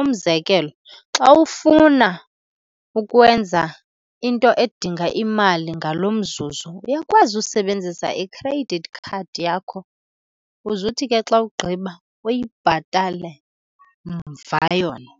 Umzekelo, xa ufuna ukwenza into edinga imali ngalo mzuzu uyakwazi usebenzisa i-credit card yakho, uze uthi ke xa ugqiba uyibhatale mva yona.